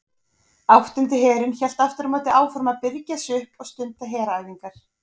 Áttundi herinn hélt aftur á móti áfram að birgja sig upp og stunda heræfingar.